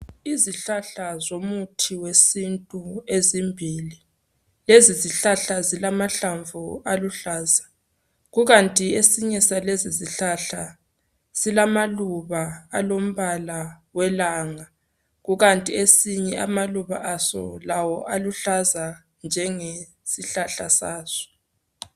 Izihlahla zomuthi wesintu ezimbili. Lezi zihlahla zilamahlamvu aluhlaza kukanti esinye salesi sihlahla silamaluba alombala welanga kukanti esinye amaluba aso lawo aluhlaza njenge sihlahla saso